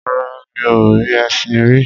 Rárá, mi ò rí ẹṣin rí.